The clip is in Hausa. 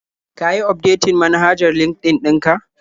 Ka yi ufdetin manhajar LinkedIn ɗin ka?